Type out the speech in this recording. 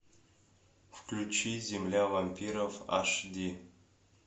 включи земля вампиров аш ди